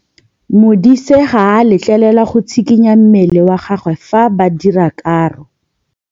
Modise ga a letlelelwa go tshikinya mmele wa gagwe fa ba dira karô.